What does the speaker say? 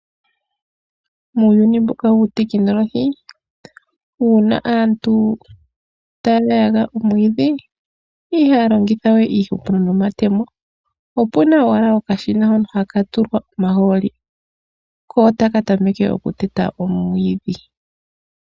Muuyuni mbuka wutekinoloji uuna aantu taya mu omwiidhi ihaya longitha we iihupulo nomatemo opuna owala okashina hono haka tulwa omahooli kotakatameke okuyeta owiidhi.